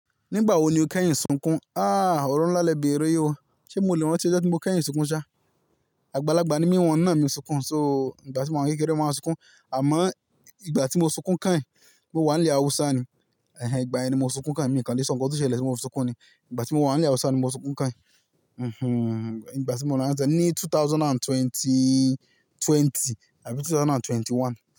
Nígbà wo ni o kẹ́yìn sunkún? Ah, ọ̀rọ̀ ńlá lẹ bẹ̀rẹ̀ yi o. Ṣé mo le rántí ọjọ́ tí mo kẹ́yìn sunkún ṣá? Àgbàlagbà ni mí, wọ́n náà mi sunkún, so ìgbà tí mo wà ní kékeré ni mo máa sunkún. Àmọ́ ìgbà tí mo sunkún kẹ́yìn mo wà ní ilẹ̀ Haúsá ni, ẹhe ìgbà yẹni mo sunkún kẹ́hìn mio kán ni so ǹkan tí ó ṣẹlẹ̀ tí mo fi sunkún ni. Ìgbà tí mo wà ní ilẹ̀ Haúsá ni mo sunkún kán. Mhmm, ìgbà tí mo wà ní Anzẹ̀ ní two thousand and twenty-twenty àbí two thousand and twenty-one.